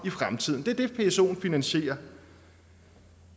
i fremtiden det er det psoen finansierer